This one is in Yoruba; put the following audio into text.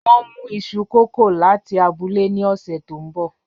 Wọn n mu iṣu kókò lati abule ni ọsẹ to nbọ